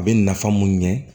A bɛ nafa mun ɲɛ